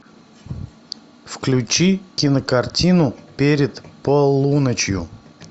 включи кинокартину перед полуночью